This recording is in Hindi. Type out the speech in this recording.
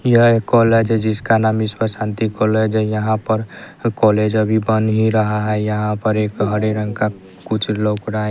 यह एक कॉलेज है जिसका नाम ईश्वर शांति कॉलेज है यहां पर कॉलेज अभी बन ही रहा है यहां पर एक हरे रंग का कुछ लौक रहा--